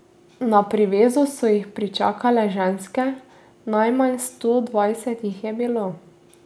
Na privezu so jih pričakale ženske, najmanj sto dvajset jih je bilo.